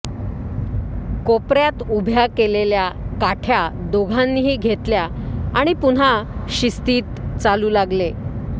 कोपऱ्यात उभ्या केलेल्या काठय़ा दोघांनीही घेतल्या आणि पुन्हा शिस्तीत चालू लागले